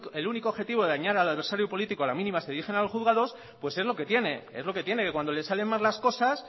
el único objetivo de dañar al adversario político a la mínima se dirigen a los juzgados es lo que tiene es lo que tiene que cuando le salen mal las cosas